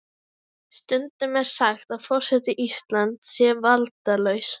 Stundum er sagt að forseti Íslands sé valdalaus.